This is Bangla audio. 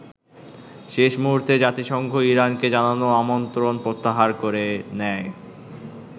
শেষ মূহুর্তে জাতিসংঘ ইরানকে জানানো আমন্ত্রণ প্রত্যাহার করে নেয়।